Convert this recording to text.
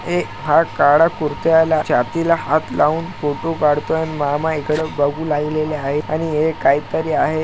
हे हा काळा कुरत्याला छाती ला हात लाऊन फोटो कडतो आहे मामा इकडे बघू लागलेले आहे आणि हे काही तरी आहे.